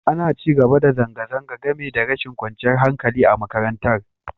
Ana ci gaba da zanga-zanga, game da rashin kwanciyar hankali a makarantar.